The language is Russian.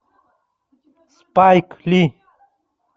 спайк ли